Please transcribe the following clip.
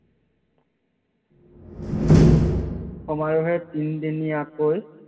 তিন দিনীয়াকৈ